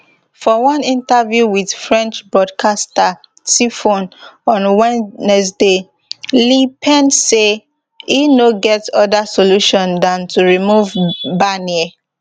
for one interview wit french broadcaster tfone on wednesday le pen say e no get oda solution dan to remove barnier